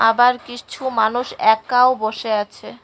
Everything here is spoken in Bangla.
আবার কিছু মানুষ একাও বসে আছে।